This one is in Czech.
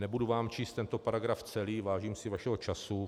Nebudu vám číst tento paragraf celý, vážím si vašeho času.